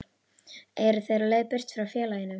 Eru þeir á leið burt frá félaginu?